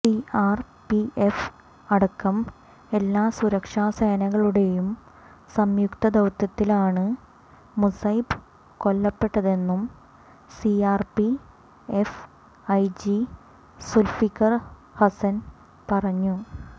CRPF അടക്കം എല്ലാ സുരക്ഷാസേനകളുടെയും സംയുക്ത ദൌത്യത്തിലാണ് മുസൈബ് കൊല്ലപ്പെട്ടതെന്നു സിആർപിഎഫ് ഐജി സുൽഫിക്കർ ഹസൻ പറഞ്ഞു